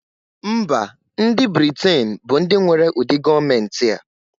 Mba ndi britain bu ndi nwere ụdị gọọmenti a.